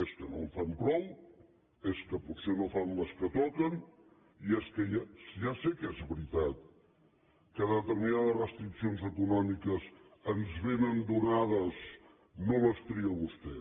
és que no en fan prou és que potser no fan les que toquen ja sé que és veritat que determinades restriccions econòmiques ens vénen donades no les tria vostè